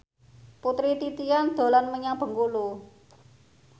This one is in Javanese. Putri Titian dolan menyang Bengkulu